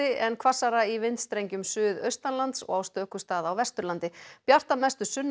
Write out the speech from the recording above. en hvassara í vindstrengjum suðaustanlands og á stöku stað á Vesturlandi bjart að mestu sunnan